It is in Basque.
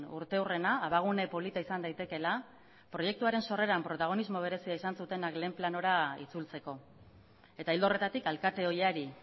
urteurrena abagune polita izan daitekeela proiektuaren sorreran protagonismo berezia izan zutenak lehen planora itzultzeko eta ildo horretatik alkate ohiari